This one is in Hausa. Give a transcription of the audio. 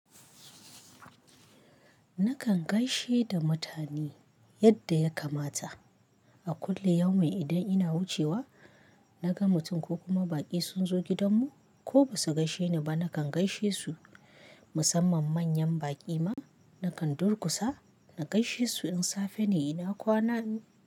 Nakan gaishe da mutane yadda ya kamata. A kullu yaumin idan ina wucewa naga mutum ko kuma baƙi sun zo gidanmu ko ba su gaishe ni ba nakan gaishe su. Musamman manyan baƙi ma nakan durkusa na gaishe su in safe ne ina kwana.